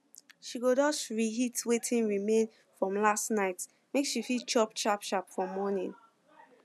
she go just reheat wetin remain from last night make she fit chop sharpsharp for morning